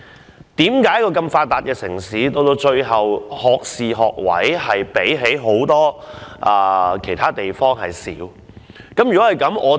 為何一個如此發達的城市，我們的學士學位比其他很多地方少？